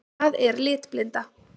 Hvað er litblinda?